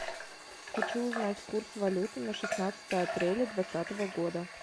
хочу узнать курс валюты на шестнадцатое апреля двадцатого года